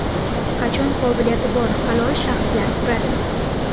Qachon qobiliyati bor halol shaxslar quradi?